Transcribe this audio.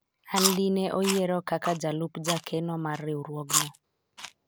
an dine oyiero kaka jalup jakeno maar riwruogno